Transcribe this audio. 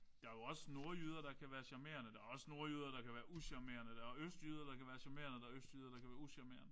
Der er jo også nordjyder der kan være charmerende. Der er også nordjyder der kan være ucharmerende. Der er østjyder der kan være charmerende. Der er østjyder der kan være ucharmerende